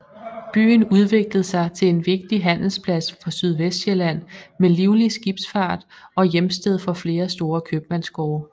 Byen udviklede sig til en vigtig handelsplads for Sydvestsjælland med livlig skibsfart og hjemsted for flere store købmandsgårde